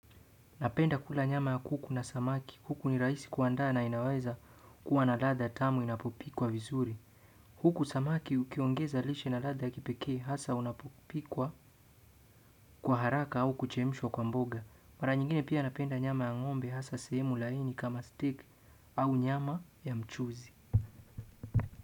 Napenda kula nyama ya kuku na samaki. Huku ni rahisi kuandaa na inaweza kuwa na ladha tamu inapopikwa vizuri. Huku samaki ukiongeza lishe na latha kipekee hasa unapopikwa kwa haraka au kuchemishwa kwa mboga. Mara nyingine pia napenda nyama ta ng'ombe hasa sehemu laini kama steak au nyama ya mchuzi.